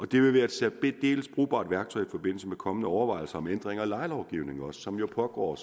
det vil være et særdeles brugbart værktøj i forbindelse med kommende overvejelser om ændringer af lejelovgivningen som jo pågår